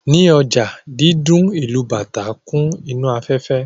Ní ọjà, dídún ìlù bàtá kún inú afẹ́fẹ́